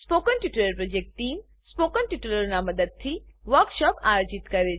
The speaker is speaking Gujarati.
spoken tutorial project team spoken ટ્યુટોરીયલોનાં ઉપયોગથી વર્કશોપોનું આયોજન કરે છે